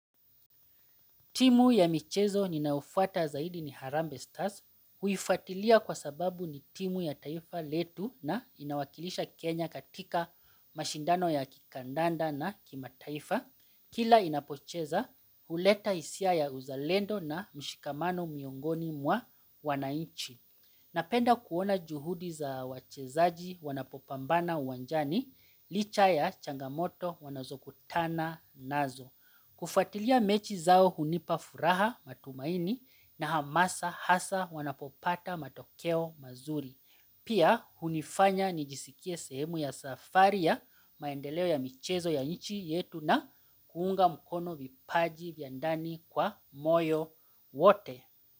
Timu ya michezo ninayofuata zaidi ni Harambe Stars huifatilia kwa sababu ni timu ya taifa letu na inawakilisha Kenya katika mashindano ya kikandanda na kimataifa. Kila inapocheza huleta hisia ya uzalendo na mshikamano miongoni mwa wananchi. Napenda kuona juhudi za wachezaji wanapo pambana uwanjani, licha ya changamoto wanazo kutana nazo. Kufatilia mechi zao hunipafuraha matumaini na hamasa hasa wanapopata matokeo mazuri. Pia hunifanya nijisikie sehemu ya safari ya maendeleo ya michezo ya nchi yetu na kuunga mkono vipaji vya ndani kwa moyo wote.